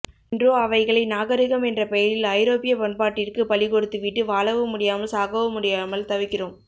இன்றோ அவைகளை நாகரிகம் என்ற பெயரில் ஐரோப்பிய பண்பாட்டிற்கு பலி கொடுத்து விட்டு வாழவும் முடியாமல் சாகவும் முடியாமல் தவிக்கிறோம்